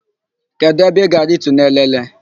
Kedụ ebe ị ga-aritu n'Elele?